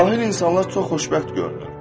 Cahil insanlar çox xoşbəxt görünür.